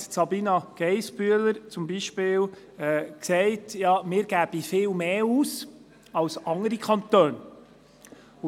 Sabina Geissbühler sagte beispielsweise, wir gäben viel mehr aus als andere Kantone.